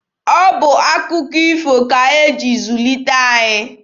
Ọ bụ akụkọ ifo ka e ji zulite anyị.